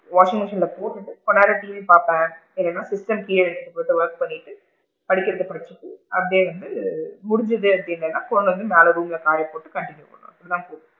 Washing machine ல போட்டுட்டு கொஞ்ச நேரம் டிவி பாப்பேன், இல்லன்னா wash பண்ணிட்டு படிக்கிறதா படிச்சிட்டு அப்படியே வந்து முடிஞ்சது அப்படின்னா கொண்டு வந்து மேல room ல காய போட்டுட்டு continue பண்ணலாம் இதான்~